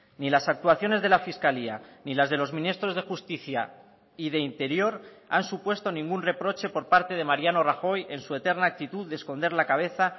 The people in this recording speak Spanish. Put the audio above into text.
ni las actuaciones de la fiscalía ni las de los ministros de justicia y de interior han supuesto ningún reproche por parte de mariano rajoy en su eterna actitud de esconder la cabeza